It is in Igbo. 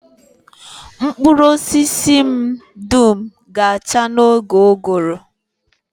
Mkpụrụ osisi m dum ga-acha n'oge ụgụrụ